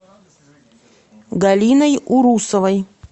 галиной урусовой